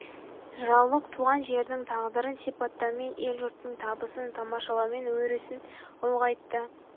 жыраулық туған жердің тағдырын сипаттаумен ел-жұрттың табысын тамашалаумен өрісін ұлғайытты